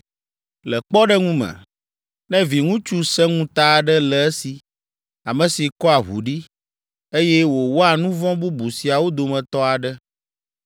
“Le kpɔɖeŋu me, ne viŋutsu sẽŋuta aɖe le esi, ame si kɔa ʋu ɖi, eye wòwɔa nu vɔ̃ bubu siawo dometɔ aɖe,